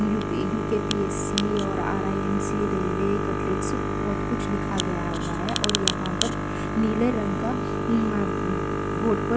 UP. UKPSC. और RIMC. Railway cutlet सा बहुत कुछ लिखा गया हुआ है और यहाँ पर नील रंग का उम्म बॉर्ड पर --